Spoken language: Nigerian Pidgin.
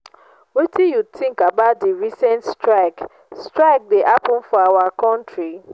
wetin you think about di recent strike strike wey happen for our country?